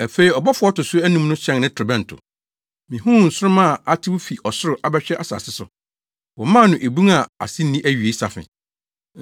Afei ɔbɔfo a ɔto so anum no hyɛn ne torobɛnto. Mihuu nsoromma a atew fi ɔsoro abɛhwe asase so. Wɔmaa no ebun a ase nni awiei safe.